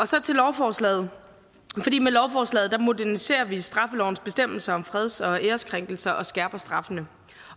så til lovforslaget med lovforslaget moderniserer vi straffelovens bestemmelser om freds og æreskrænkelser og skærper straffene